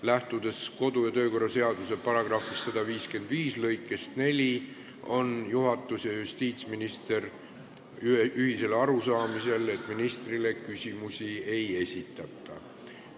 Lähtudes kodu- ja töökorra seaduse § 155 lõikest 4 on juhatus ja justiitsminister ühisel arusaamisel, et ministrile küsimusi ei esitata.